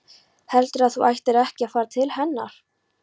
Heldurðu að þú ættir ekki að fara til hennar?